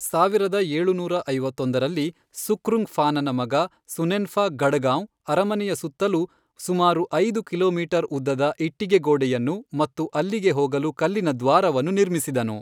ಸಾವಿರದ ಏಳುನೂರ ಐವತ್ತೊಂದರಲ್ಲಿ, ಸುಖ್ರುಂಗ್ಫಾನನ ಮಗ ಸುನೆನ್ಫಾ ಗಢಗಾಂವ್ ಅರಮನೆಯ ಸುತ್ತಲೂ ಸುಮಾರು ಐದು ಕಿಲೋಮೀಟರ್ ಉದ್ದದ ಇಟ್ಟಿಗೆ ಗೋಡೆಯನ್ನು ಮತ್ತು ಅಲ್ಲಿಗೆ ಹೋಗಲು ಕಲ್ಲಿನ ದ್ವಾರವನ್ನು ನಿರ್ಮಿಸಿದನು.